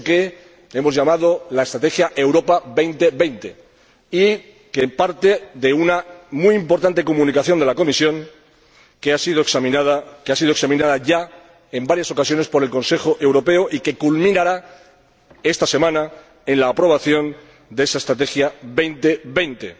Eso que hemos llamado la estrategia Europa 2020, que parte de una muy importante Comunicación de la Comisión, que ha sido examinada ya en varias ocasiones por el Consejo Europeo y que culminará esta semana con la aprobación de esa Estrategia 2020,